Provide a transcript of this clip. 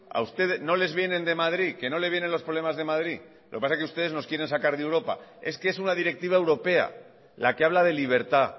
a usted no les vienen de madrid que no le viene los problemas de madrid lo que pasa es que ustedes nos quieren sacar de europa es que es una directiva europea la que habla de libertad